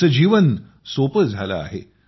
त्यांचे जीवन सोपे झाले आहे